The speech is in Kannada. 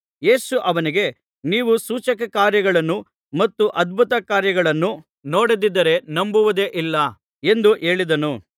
ಯೇಸು ಅವನಿಗೆ ನೀವು ಸೂಚಕ ಕಾರ್ಯಗಳನ್ನೂ ಮತ್ತು ಅದ್ಭುತ ಕಾರ್ಯಗಳನ್ನೂ ನೋಡದಿದ್ದರೆ ನಂಬುವುದೇ ಇಲ್ಲ ಎಂದು ಹೇಳಿದನು